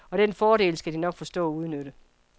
Og den fordel skal de nok forstå at udnytte.